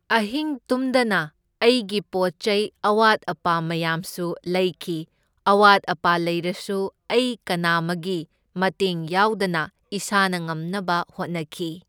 ꯑꯍꯤꯡ ꯇꯨꯝꯗꯅ ꯑꯩꯒꯤ ꯄꯣꯠ ꯆꯩ ꯑꯋꯥꯠ ꯑꯄꯥ ꯃꯌꯥꯝꯁꯨ ꯂꯩꯈꯤ, ꯑꯋꯥꯠ ꯑꯄꯥ ꯂꯩꯔꯁꯨ ꯑꯩ ꯀꯅꯥꯃꯒꯤ ꯃꯇꯦꯡ ꯌꯥꯎꯗꯅ ꯏꯁꯥꯅ ꯉꯝꯅꯕ ꯍꯣꯠꯅꯈꯤ꯫